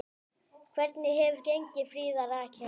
Hvernig hefur gengið, Fríða Rakel?